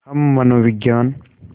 हम मनोविज्ञान